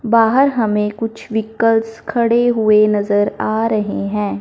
बाहर हमें कुछ व्हीकल्स खड़े हुए नज़र आ रहे हैं।